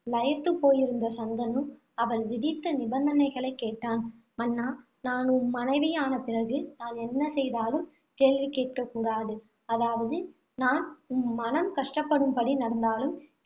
லயத்துப் போயிருந்த சந்தனு, அவள் விதித்த நிபந்தனைகளைக் கேட்டான். மன்னா நான் உம் மனைவியான பிறகு, நான் என்ன செய்தாலும் கேள்வி கேட்கக்கூடாது. அதாவது, நான் உம் மனம் கஷ்டப்படும்படி நடந்தாலும்